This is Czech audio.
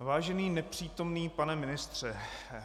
Vážený nepřítomný pane ministře,